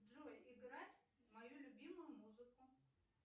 джой играть мою любимую музыку